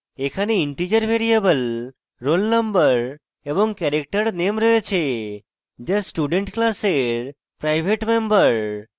এখানে integer variable roll _ no এবং character name রয়েছে যা student class private মেম্বর